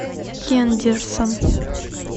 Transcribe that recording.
хендерсон